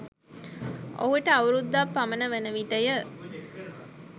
ඔහුට අවුරුදක් පමණ වන විටය.